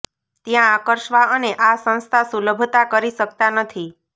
ત્યાં આકર્ષવા અને આ સંસ્થા સુલભતા કરી શકતા નથી